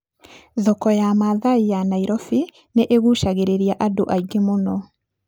Thoko ya Maathai ya Nairobi nĩ ĩgucagĩrĩria andũ aingĩ mũno.